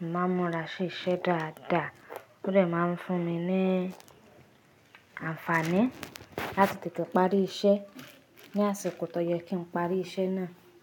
Mo máa ń múra sí iṣẹ́ dáadáa, ó dẹ máa ń fún mi ní àǹfààní láti tètè parí iṣẹ́ ní àsìkò tó yẹ kí n parí iṣẹ́ náà.